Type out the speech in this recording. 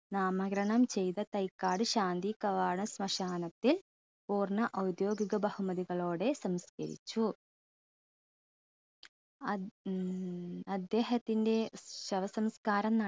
നാമരകണം ചെയ്ത തൈക്കാട് ശാന്തികവാട ശ്‌മശാനത്തിൽ പൂർണ ഔദ്യോഗിക ബഹുമതികളോടെ സംസ്കരിച്ചു അദ്ദ് ഉം അദ്ദേഹത്തിൻറെ ശവസംസ്കാരം